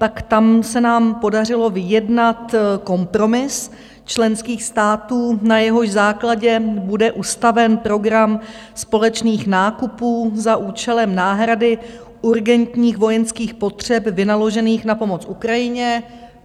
Tak tam se nám podařilo vyjednat kompromis členských států, na jehož základě bude ustaven program společných nákupů za účelem náhrady urgentních vojenských potřeb vynaložených na pomoc Ukrajině.